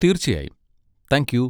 തീർച്ചയായും, thank U!